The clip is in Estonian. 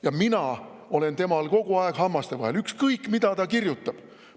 Ja mina olen temal kogu aeg hammaste vahel, ükskõik mida ta kirjutab.